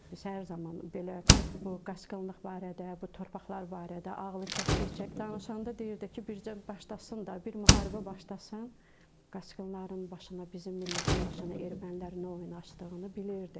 Biz hər zaman belə bu qaçqınlıq barədə, bu torpaqlar barədə ağlı kəsdikcə danışanda deyirdi ki, bircə başlasın da, bir müharibə başlasın, qaçqınların başına, bizim millətin başına ermənilər nə oyun açdığını bilirdi.